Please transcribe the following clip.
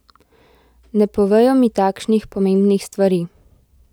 Ne povejo mi takšnih pomembnih stvari.